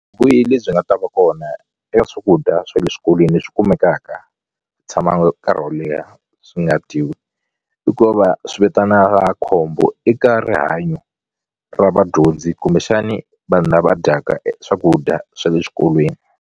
lebyi nga ta va kona e swakudya swa le swikolweni leswi kumekaka tshamaku nkarhi wo leha swi nga dyiwi i ku va swi vitanaka khombo eka rihanyo ra vadyondzi kumbexani vanhu lava dyaka swakudya swa le xikolweni.